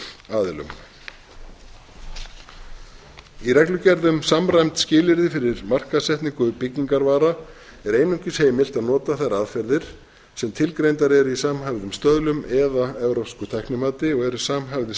aðilum í reglugerð um samræmd skilyrði fyrir markaðssetningu byggingarvara er einungis heimilt að nota þær aðferðir sem tilgreindar eru í samhæfðum stöðlum eða evrópsku tæknimati og eru samhæfðir